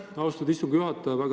Aitäh, austatud istungi juhataja!